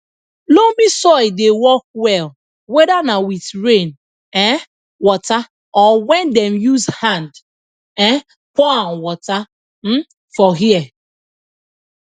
loamy soil dey work well weda na with rain um water or wen dem use hand um pour am water um for here